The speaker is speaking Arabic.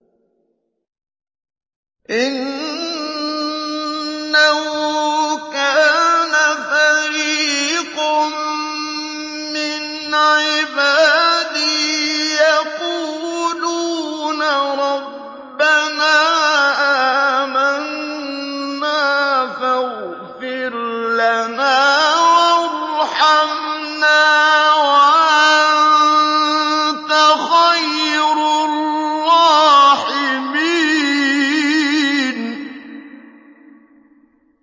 إِنَّهُ كَانَ فَرِيقٌ مِّنْ عِبَادِي يَقُولُونَ رَبَّنَا آمَنَّا فَاغْفِرْ لَنَا وَارْحَمْنَا وَأَنتَ خَيْرُ الرَّاحِمِينَ